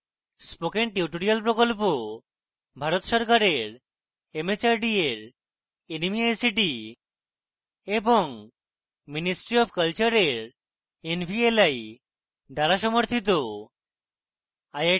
spoken tutorial project ভারত সরকারের mhrd এর nmeict এবং ministry অফ কলচারের nvli দ্বারা সমর্থিত